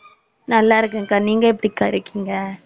நல்லா இருக்கேன்கா. நீங்க எப்படிக்கா இருக்கீங்க